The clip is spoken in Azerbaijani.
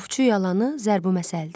Ovçu yalanı zərbi məsəldir.